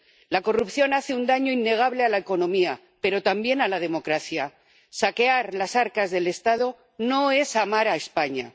La corrupción hace un daño innegable a la economía, pero también a la democracia saquear las arcas del Estado no es amar a España.